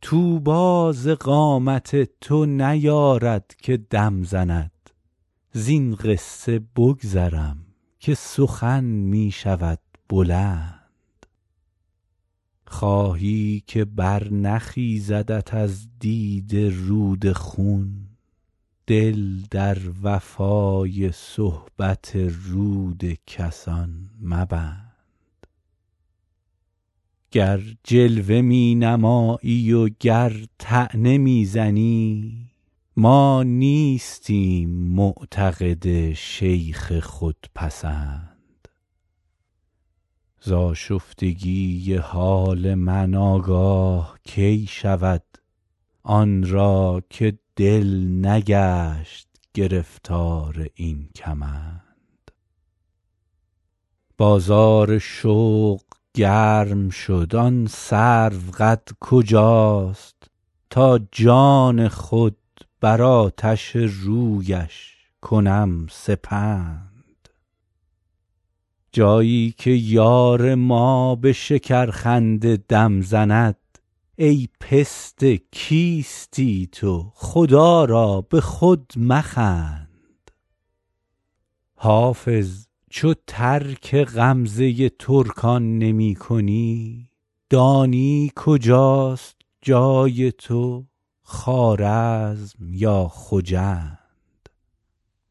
طوبی ز قامت تو نیارد که دم زند زین قصه بگذرم که سخن می شود بلند خواهی که برنخیزدت از دیده رود خون دل در وفای صحبت رود کسان مبند گر جلوه می نمایی و گر طعنه می زنی ما نیستیم معتقد شیخ خودپسند ز آشفتگی حال من آگاه کی شود آن را که دل نگشت گرفتار این کمند بازار شوق گرم شد آن سروقد کجاست تا جان خود بر آتش رویش کنم سپند جایی که یار ما به شکرخنده دم زند ای پسته کیستی تو خدا را به خود مخند حافظ چو ترک غمزه ترکان نمی کنی دانی کجاست جای تو خوارزم یا خجند